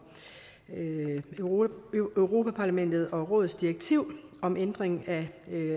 europa parlamentets og rådets direktiv om ændring af